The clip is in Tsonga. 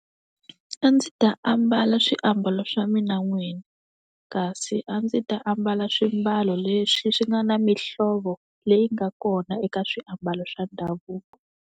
A ndzi ta ambala swiambalo swa mina n'wini kasi a ndzi ta ambala swiambalo leswi swi nga na mihlovo leyi nga kona eka swiambalo swa ndhavuko.